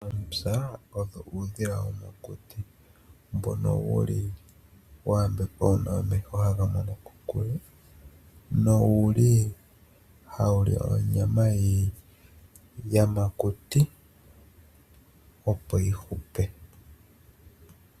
Ootsa oyo uudhila womokuti mbono. Wuli wayambegwa nomeho ngoka haga mono kokule. Nowuli hawuli onyama yiyamakuti opo yihupe.